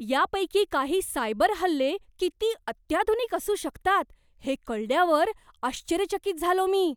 यापैकी काही सायबर हल्ले किती अत्याधुनिक असू शकतात हे कळल्यावर आश्चर्यचकित झालो मी.